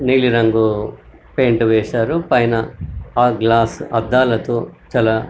నీలి రంగు పెయింట్ వేశారు పైన ఆ గ్లాస్ అద్దాలతో చాలా --